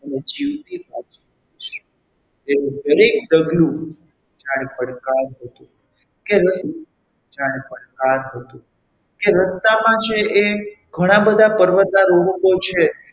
તે જીવતી પાછી આવીશ તેનું દરેક ડગલું જાણે પડકાર હતું કે રસ્તામાં જાણે પડકાર હતું કે રસ્તામાં છે એ ઘણા બધા પર્વતારોહકો છે.